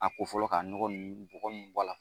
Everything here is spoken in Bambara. A ko fɔlɔ ka nɔgɔ ninnu bɔgɔ ninnu bɔ a la.